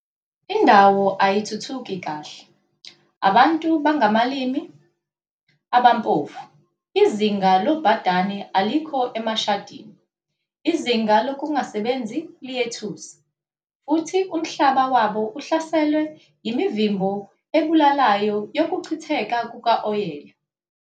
Indawo ayithuthuki kahle, abantu bangabalimi abampofu, izinga lobhadane alikho emashadini, izinga lokungasebenzi liyethusa, futhi umhlaba wabo uhlaselwe yimivimbo ebulalayo yokuchitheka kukawoyela.